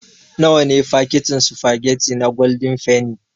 Nawa ne fakitin sufagetti na gwaldin fenni.